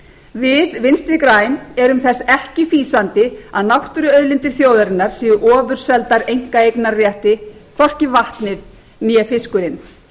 við vinstri græn erum þess ekki fýsandi að náttúruauðlindir þjóðarinnar séu ofurseldar einkaeignarrétti hvorki vatnið né fiskurinn